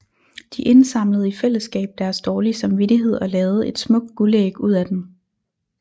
De indsamlede i fællesskab deres dårlige samvittighed og lavede et smukt guldæg ud af den